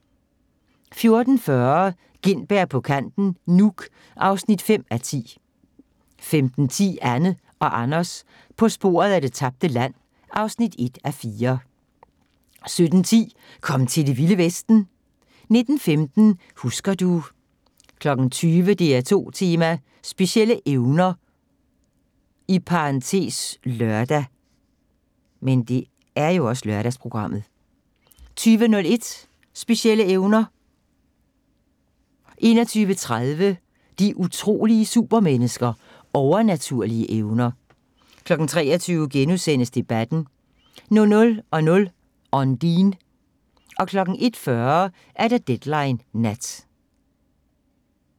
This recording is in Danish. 14:40: Gintberg på kanten Nuuk (5:10) 15:10: Anne og Anders på sporet af det tabte land (1:4) 17:10: Kom til Det Vilde Vesten! 19:15: Husker du ... 20:00: DR2 Tema: Specielle evner (lør) 20:01: Specielle evner 21:30: De utrolige supermennesker – Overnaturlige evner 23:00: Debatten * 00:00: Ondine 01:40: Deadline Nat